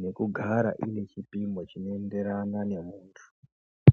nekugara inechipimo chinoenderana nemuntu.